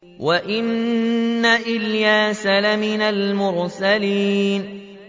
وَإِنَّ إِلْيَاسَ لَمِنَ الْمُرْسَلِينَ